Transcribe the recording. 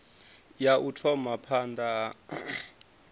ya u thoma phanda ha